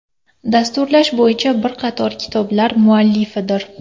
Dasturlash bo‘yicha bir qator kitoblar muallifidir.